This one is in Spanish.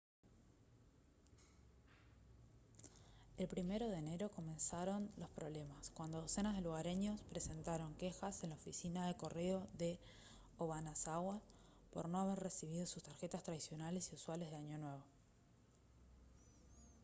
el 1 de enero comenzaron los problemas cuando docenas de lugareños presentaron quejas en la oficina de correo de obanazawa por no haber recibido sus tarjetas tradicionales y usuales de año nuevo